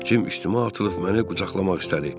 Cim üstümə atılıb məni qucaqlamaq istədi.